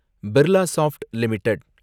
Birlasoft limited